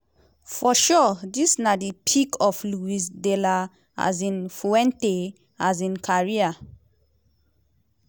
for sure dis na di peak of luis de la um fuente um career.